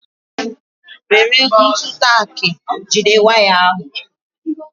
Were ntụ taki jide waya ahu